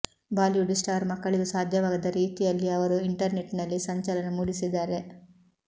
Bollywood star ಮಕ್ಕಳಿಗೂ ಸಾಧ್ಯವಾಗದ ರೀತಿಯಲ್ಲಿ ಅವರು ಇಂಟರ್ನೆಟ್ನಲ್ಲಿ ಸಂಚಲನ ಮೂಡಿಸಿದ್ದಾರೆ